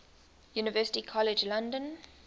university college london